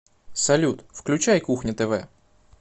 салют включай кухня тв